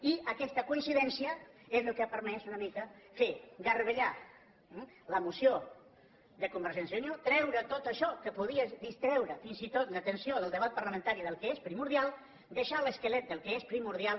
i aquesta coincidència és el que ha permès una mica fer garbellar la moció de convergència i unió treure tot això que podia distreure fins i tot l’atenció del debat parlamentari del que és primordial deixar l’esquelet del que és primordial